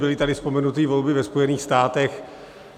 Byly tady vzpomenuty volby ve Spojených státech.